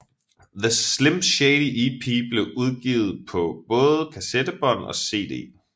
The Slim Shady EP blev udgivet på både kassettebånd og CD